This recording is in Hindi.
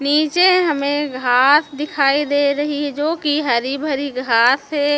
नीचे हमें घास दिखाई दे रही है जोकि हरी भरी घास है।